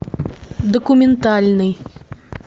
документальный